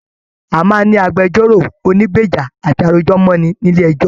A máa n ní agbẹ̀jọ́ro ònígbeja àti arojọ̀mọni nílé ẹjọ.